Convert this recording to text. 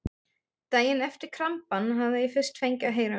Daginn eftir krampann hafði ég fyrst fengið að heyra um